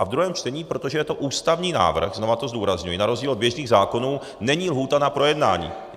A ve druhém čtení, protože je to ústavní návrh, znovu to zdůrazňuji, na rozdíl od běžných zákonů není lhůta na projednání.